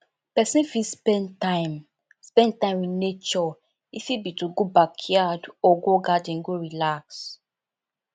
person fit spend time spend time with naturee fit be to go backyard or garden go relax